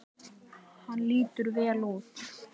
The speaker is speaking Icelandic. Hann lítur vel út